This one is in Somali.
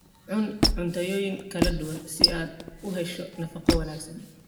Cun cuntooyin kala duwan si aad u hesho nafaqo wanaagsan.